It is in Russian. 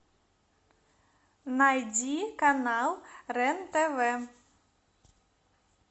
найди канал рен тв